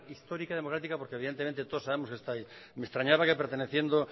histórica democrática porque evidentemente todos sabemos que está ahí me extrañaba que perteneciendo